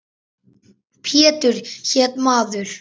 Pétur hét maður.